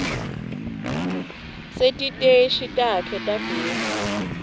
setiteshi takhe tagezi